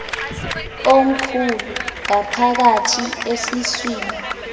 omkhulu ngaphakathi esiswini